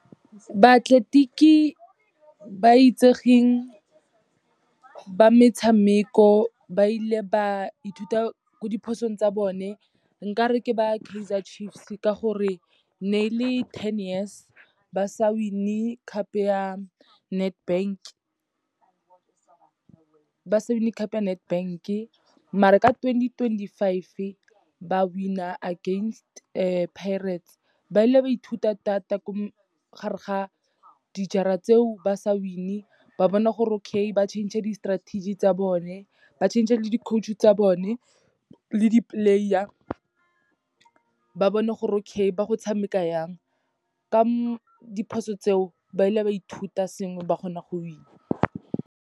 Baatleletiki ba itsegeng ba metshameko, ba ile ba ithuta ko diphosong tsa bone, nkare ke ba Kaizer Chiefs ka gore, ne le ten years ba sa win-e cup ya Nedbank-e, maar-e ka twenty twenty-five ba win-a against Pirates. Ba ile ba ithuta thata gare ga dijara tseo ba sa win-e, ba bona gore okay ba change di-strategy tsa bone, ba change le di-coach tsa bone, le di-player, ba bone gore okay ba go tshameka yang. Ka diphoso tseo, ba ile ba ithuta sengwe ba kgona go win-a.